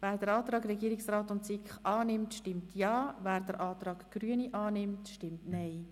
Wer den Antrag Regierungsrat/SiK annimmt, stimmt Ja, wer den Antrag Grüne annimmt, stimmt Nein.